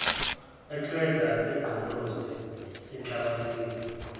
eqeda egqolozela inhlabathi